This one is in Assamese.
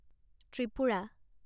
ত্ৰিপুৰা